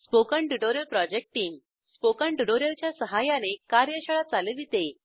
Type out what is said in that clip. spoken tutorial project team spoken tutorial च्या सहाय्याने कार्यशाळा चालविते